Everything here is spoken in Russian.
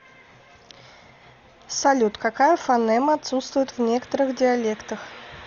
салют какая фонема отсутствует в некоторых диалектах